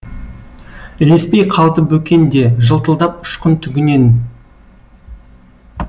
ілеспей қалды бөкен де жылтылдап ұшқын түгінен